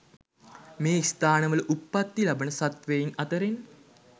මේ ස්ථානවල උප්පත්ති ලබන සත්වයින් අතරෙන්